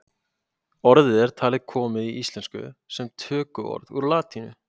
orðið er talið komið í íslensku sem tökuorð úr latínu